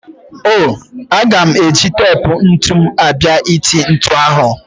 O-o, aga m eji tep ntụ m abịa ịtụ ntụ ahụ.